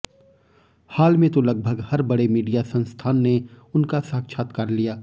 हाल में तो लगभग हर बड़े मीडिया संस्थान ने उनका साक्षात्कार लिया